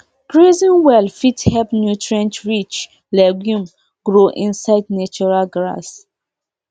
grazing well fit help nutrient rich legume grow inside natural grass